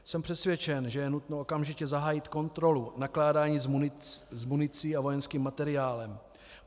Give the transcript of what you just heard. Jsem přesvědčen, že je nutno okamžitě zahájit kontrolu nakládání s municí a vojenským materiálem.